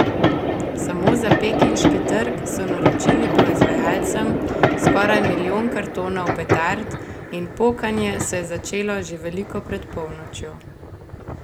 Samo za pekinški trg so naročili proizvajalcem skoraj milijon kartonov petard in pokanje se je začelo že veliko pred polnočjo.